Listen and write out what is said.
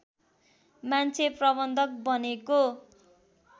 मान्छे प्रबन्धक बनेको